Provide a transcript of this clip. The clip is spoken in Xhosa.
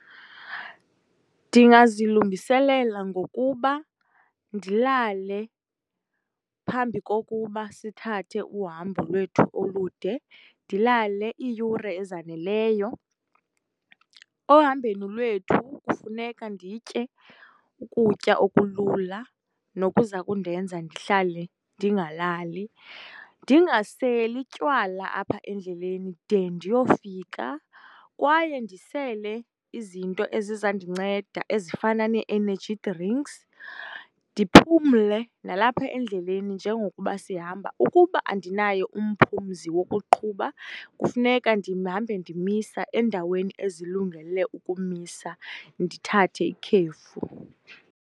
Ndingazilungiselela ngokuba ndilale phambi kokuba sithathe uhambo lwethu olude, ndilale iiyure ezaneleyo. Ohambeni lethu kufuka nditye ukutya okulula nokuza kundenza ndihlale ndingalali. Ndingaseli tywala apha endleleni de ndiyofika, kwaye ndisele izinto ezizandinceda ezifana nee-energy drinks. Ndiphumle nalapha endleni njengoba sihamba. Ukuba andinaye umphumzi wokuqhuba, kufuneka ndihambe ndimisa endaweni ezilungele ukumisa, ndithathe ikhefu.